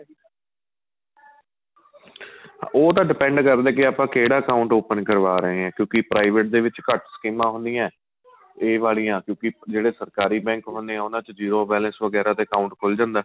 ਉਹ ਤਾਂ depend ਕਰਦਾ ਕੀ ਆਪਾਂ ਕਿਹੜਾ account open ਕਰਵਾ ਰਹੇ ਹਾਂ ਕਿਉਂਕਿ private ਦੇ ਵਿੱਚ ਘੱਟ ਸਕੀਮਾਂ ਹੁੰਦੀਆਂ ਏ ਏਹ ਵਾਲੀਆਂ ਕਿਉਂਕਿ ਜਿਹੜੇ ਸਰਕਾਰੀ bank ਹੁਣੇ ਏ ਉਹਨਾ ਚ zero balance ਵਗੇਰਾ ਤੇ account ਖੁੱਲ ਜਾਂਦਾ ਏ